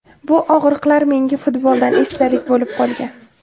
Bu og‘riqlar menga futboldan esdalik bo‘lib qolgan.